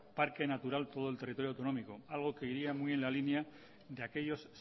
parque natural todo el territorio autonómico algo que iría muy en la línea de aquellos